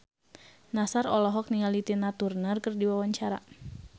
Nassar olohok ningali Tina Turner keur diwawancara